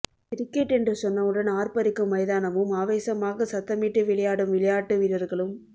cricket என்று சொன்னவுடன் ஆர்ப்பரிக்கும் மைதானமும் ஆவேசமாக சத்தமிட்டு விளையாடும் விளையாட்டு வீரர்களும்